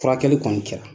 Furakɛli kɔni kɛra